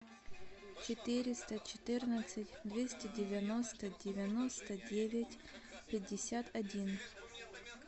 четыреста четырнадцать двести девяносто девяносто девять пятьдесят один